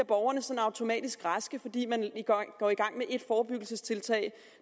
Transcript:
borgerne sådan automatisk bliver raske fordi man går i gang med ét forebyggelsestiltag